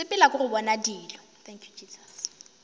sepela ke go bona dilo